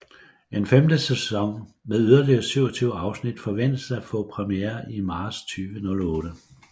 En femte sæson med yderligere 27 afsnit forventes at få premiere i marts 2008